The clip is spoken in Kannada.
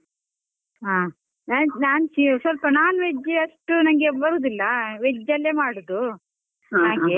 ಹ ನ~ ನನ್ ಸ್ವಲ್ಪ non veg ಅಷ್ಟು ನನ್ಗೆ ಬರುದಿಲ್ಲಾ, veg ಅಲ್ಲೇ ಮಾಡುದು .